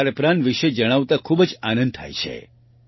ખારપ્રાન વિશે જણાવતા ખૂબ જ આનંદ થાય છે